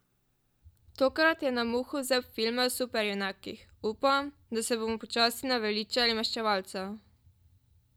Tokrat je na muho vzel filme o superjunakih: "Upam, da se bomo počasi naveličali Maščevalcev.